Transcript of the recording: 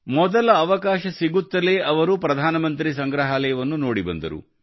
ಮೊದಲ ಅವಕಾಶ ಸಿಗುತ್ತಲೇ ಅವರು ಪ್ರಧಾನಮಂತ್ರಿ ಸಂಗ್ರಹಾಲಯವನ್ನು ನೋಡಿ ಬಂದರು